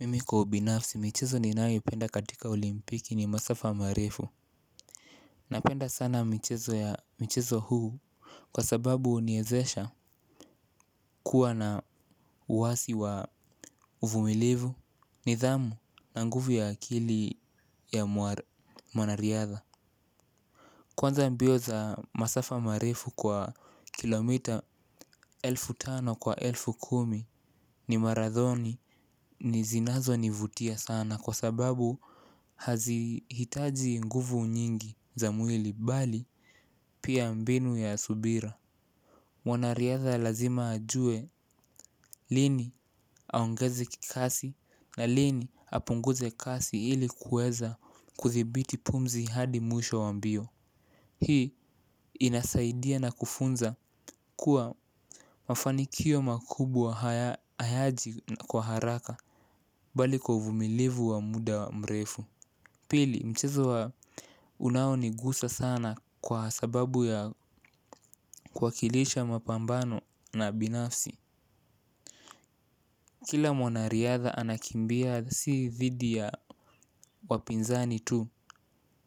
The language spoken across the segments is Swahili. Mimi kwa ubinafsi michezo ninayoipenda katika olimpiki ni masafa marefu. Napenda sana michezo ya mchezo huu. Kwa sababu huniwezesha kuwa na uwasi wa uvumilivu nidhamu na nguvu ya akili ya mwanariadha. Kwanza mbio za masafa marefu kwa kilomita elfu tano kwa elfu kumi, ni maradhoni zinazonivutia sana kwa sababu hazihitaji nguvu nyingi za mwili bali pia mbinu ya subira. Wanariada lazima ajue lini aongeze kikasi na lini apunguze kasi ilikuweza kuthibiti pumzi hadi mwisho wa mbio. Hii inasaidia na kufunza kuwa mafanikio makubwa hayaji kwa haraka bali kwa uvumilivu wa muda mrefu. Pili mchezo wa unaonigusa sana kwa sababu ya kuwakilisha mapambano na binafsi. Kila mwanariadha anakimbia si thidi ya wapinzani tu.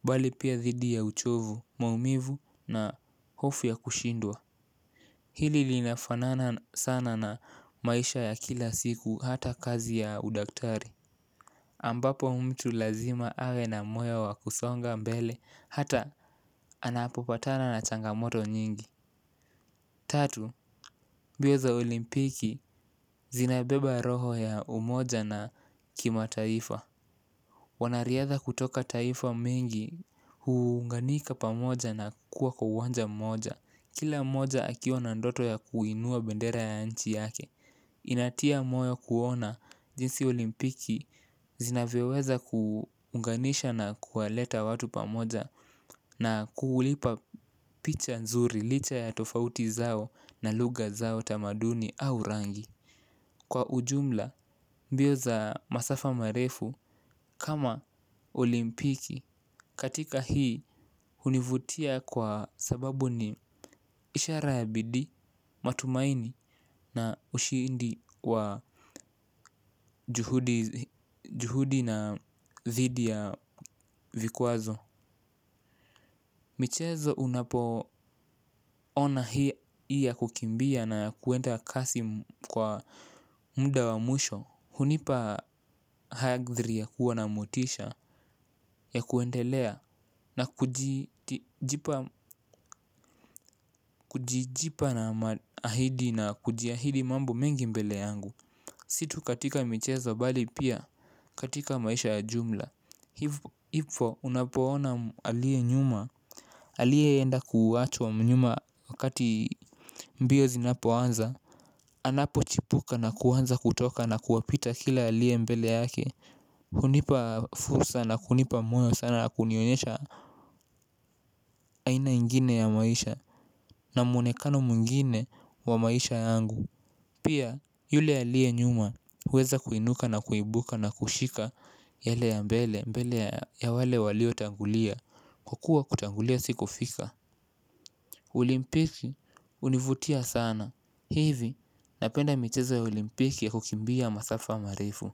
Bali pia thidi ya uchovu, maumivu na hofu ya kushindwa. Hili liinafanana sana na maisha ya kila siku hata kazi ya udaktari ambapo mtu lazima awe na moyo wa kusonga mbele hata anapopatana na changamoto mingi. Tatu, mbio za olimpiki zinabeba roho ya umoja na kimataifa. Wanariadha kutoka taifa mengi huunganika pamoja na kuwa kwa uwanja mmoja. Kila mmoja akiwa na ndoto ya kuinua bendera ya nchi yake. Inatia moyo kuona jinsi olimpiki zinavyoweza kuunganisha na kuwaleta watu pamoja. Na kuulipa picha nzuri licha ya tofauti zao na lugha zao tamaduni au rangi. Kwa ujumla mbio za masafa marefu kama olimpiki katika hii hunivutia kwa sababu ni ishara ya bidii, matumaini, na ushindi wa juhudi na thidi ya vikwazo. Michezo unapoona hii ya kukimbia na ya kuenda kasi kwa muda wa mwisho hunipa hadhiri ya kuwa na motisha ya kuendelea na kujipa na ahidi na kujiahidi mambo mengi mbele yangu. Situkatika michezo bali pia katika maisha ya jumla. Hivo unapoona alie nyuma, alieenda kuwachwa nyuma wakati mbio zinapoanza. Anapochipuka na kuanza kutoka na kuwapita kila alie mbele yake. Hunipa fursa na kunipa moyo sana na kunionyesha aina ingine ya maisha. Na mwonekano mwngine wa maisha yangu. Pia yule alie nyuma kuweza kuinuka na kuibuka na kushika yale ya mbele ya wale waliotangulia hukua kutangulia si kufika Olimpiki hunivutia sana. Hivi napenda michezo ya olimpiki kukimbia masafa marefu.